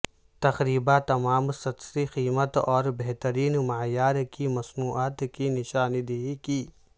تقریبا تمام سستی قیمت اور بہترین معیار کی مصنوعات کی نشاندہی کی